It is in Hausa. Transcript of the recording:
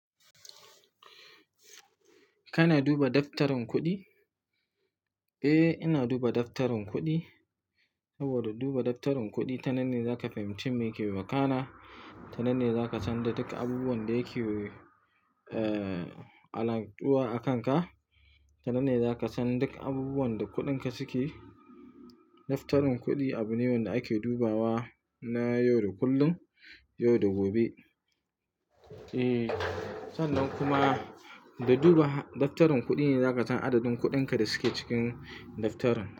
Kana duba daftarin kuɗi? Eh, ina duba daftarin kuɗi. Saboda duba daftarin kuɗi tananne zaka fahimci me ke makana, tananne zaka san duk abubuwan da ke, eh, a lantuwa a kanka, tananne zaka san duk abubuwan da kuɗinka suke. Daftarin kuɗi abu ne wanda ake dubawa na yau da kullum, yau da gobe. Eh, sannan kuma da duba daftarin kuɗi ne zaka san adadin kuɗinka da suke cikin daftarin.